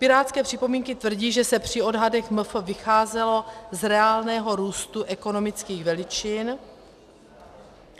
Pirátské připomínky tvrdí, že se při odhadech MF vycházelo z reálného růstu ekonomických veličin...